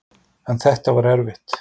En þetta var erfitt.